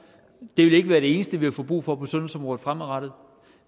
det vil ikke være det eneste vi får brug for på sundhedsområdet fremadrettet